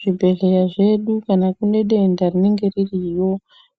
Zvibhedhleya zvedu kana kune denda rinenge ririyo